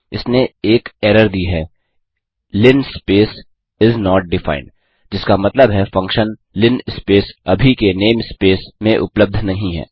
इसने एक एरर दी है linspace इस नोट डिफाइंड जिसका मतलब है फंक्शन linspace अभी के नेम स्पेस में उपलब्ध नहीं है